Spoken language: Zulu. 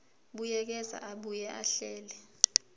buyekeza abuye ahlele